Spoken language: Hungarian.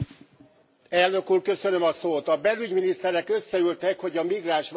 A belügyminiszterek összeültek, hogy a migránsválságra megoldást találjanak.